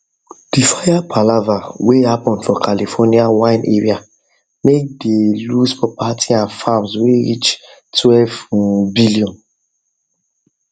the fire palava whey happen for california wine area make the lose property and farms whey reach twelve um billion